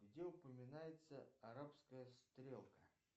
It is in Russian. где упоминается арабская стрелка